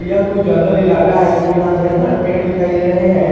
य कुछ जंगल इलाका है क्योंकि यहां ढेर सारे पेड़ दिखाई दे रहे हैं।